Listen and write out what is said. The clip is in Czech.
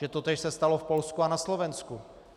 Že totéž se stalo v Polsku a na Slovensku.